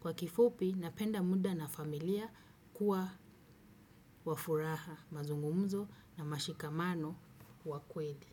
Kwa kifupi, napenda muda na familia kuwa wafuraha, mazungumzo na mashikamano wakweli.